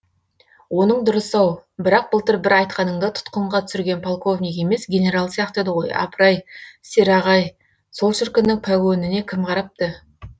оның дұрыс ау бірақ былтыр бір айтқаныңда тұтқынға түсіргенің полковник емес генерал сияқты еді ғой апыр ай сераға ай сол шіркіннің пәгөніне кім қарапты